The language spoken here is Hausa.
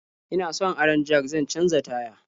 Ina son aron jak zan canja taya.